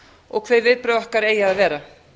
og hver viðbrögð okkar eigi að vera